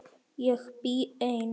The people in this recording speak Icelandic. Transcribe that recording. Ég bý ein.